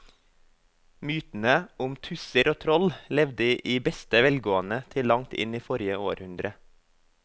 Mytene om tusser og troll levde i beste velgående til langt inn i forrige århundre.